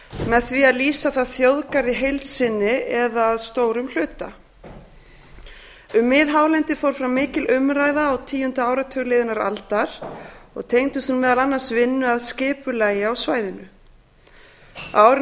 með því að lýsa það þjóðgarð í heild sinni eða að stórum hluta um miðhálendið fór fram mikil umræða á tíunda áratug liðinnar aldar og tengdist hún meðal annars vinnu að skipulagi á svæðinu á árinu